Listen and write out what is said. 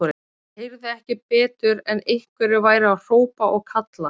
Ég heyrði ekki betur en einhverjir væru að hrópa og kalla.